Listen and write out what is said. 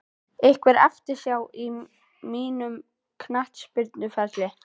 Einhver eftirsjá á mínum knattspyrnuferli?